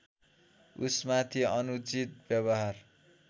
उसमाथि अनुचित व्यवहार